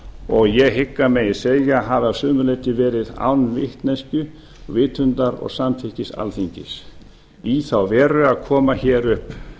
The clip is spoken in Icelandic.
og ég hygg að megi segja að hafi að sumu leyti verið án vitneskju vitundar og samþykkis alþingis í þá veru að koma upp